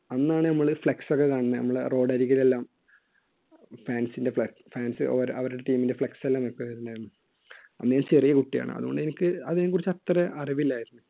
അന്നാണ് നമ്മള് flex ഒക്കെ കാണുന്നെ നമ്മുടെ road അരികിൽ എല്ലാം fans ന്റെ fans അവരുടെ team ൻറെ flex എല്ലാം വെക്കുന്നുണ്ടായിരുന്നു അന്ന് ഞാൻ ചെറിയ കുട്ടിയാണ് അതുകൊണ്ട് എനിക്ക് അതിനെക്കുറിച്ച് അത്ര അറിവില്ലായിരുന്നു.